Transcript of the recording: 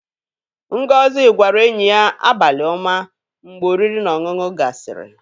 Ngozi gwara enyi ya "Abali oma" mgbe oriri na ọṅụṅu gasiri.